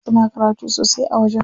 Suna karatu sosai a wajen.